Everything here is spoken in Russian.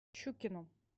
щукину